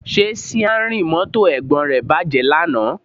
Ṣé síárìn mọ́tò Ẹ̀gbọ́n rẹ bàjẹ́ lánàá?